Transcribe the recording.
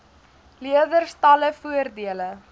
leerders talle voordele